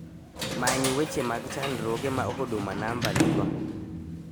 Many weche mag chandruoge ma huduma number nigo